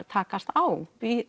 takast á